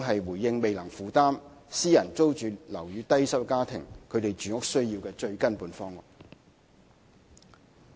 對於未能負擔私人租住樓宇的低收入家庭，公屋始終是最根本的方案。